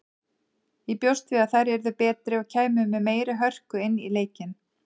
Ég bjóst við að þær yrðu betri og kæmu með meiri hörku inn í leikinn.